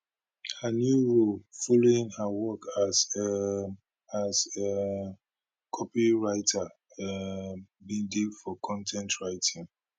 her new role following her work as um as um copywriter um bin dey for con ten t writing